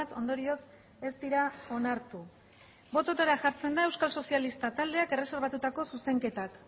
ondorioz ez dira onartu bototara jartzen da euskal sozialista taldeak erreserbatutako zuzenketak